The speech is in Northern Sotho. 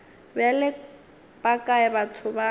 bjale ba kae batho ba